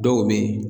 Dɔw bɛ yen